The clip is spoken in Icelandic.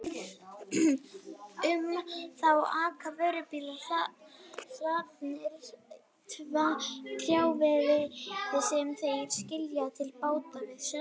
Um þá aka vörubílar hlaðnir trjáviði sem þeir skila til báta við ströndina.